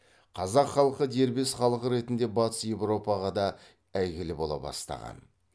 қазақ халқы дербес халық ретінде батыс европаға да әйгілі бола бастаған